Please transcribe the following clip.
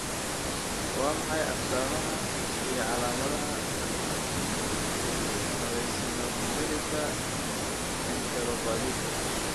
Waa maxay astamaha iyo calaamadaha eosinophilika enteropathiga?